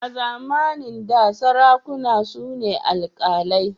A zamanin da sarakuna su ne alkalai.